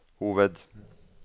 hoved